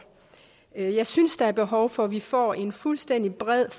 jeg jeg synes der er behov for at vi får en fuldstændig bred